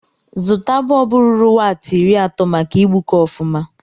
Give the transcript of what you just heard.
Zụta bọlbụ ruru waati iri atọ maka igbuke ọfụma.